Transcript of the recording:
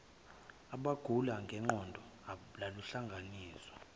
abagula ngengqondo luhlanganiswa